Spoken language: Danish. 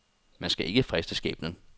Man skal ikke friste skæbnen.